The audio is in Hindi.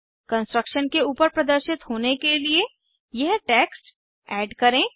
कंस्ट्रक्शन के ऊपर प्रदर्शित होने के लिए यह टेक्स्ट ऐड करें